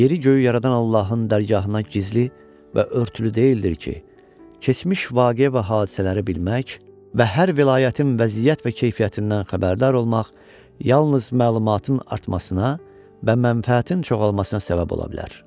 Yeri göyü yaradan Allahın dərgahına heç gizli və örtülü deyildir ki, keçmiş vaqe və hadisələri bilmək və hər vilayətin vəziyyət və keyfiyyətindən xəbərdar olmaq yalnız məlumatın artmasına və mənfəətin çoxalmasına səbəb ola bilər.